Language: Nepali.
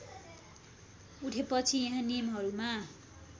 उठेपछि यहाँ नियमहरूमा